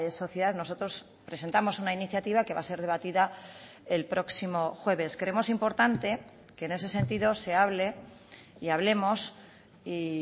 sociedad nosotros presentamos una iniciativa que va a ser debatida el próximo jueves creemos importante que en ese sentido se hable y hablemos y